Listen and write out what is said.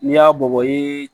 N'i y'a bɔ i